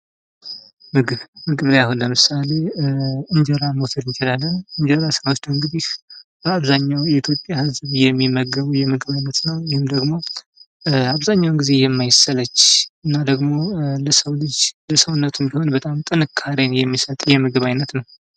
ምግብ፦ ምግብ ላይ አሁን ለምሳሌ እንጀራን መውሰድ እንችላለን። እንጀራ ሲብራራ እንግዲህ በአብዛኛው የኢትዮጵያ ህዝብ የሚመገበው የምግብ አይነት ነው። ይህም ደግሞ አብዛኛውን ጊዜ የማይሰለች አና ደግሞ ለሰው ልጅ ለሰውነት በጣም ጥንካሬን የሚሰጥ የምግብ አይነት ነው።